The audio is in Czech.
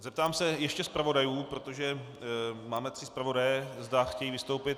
Zeptám se ještě zpravodajů, protože máme tři zpravodaje, zda chtějí vystoupit.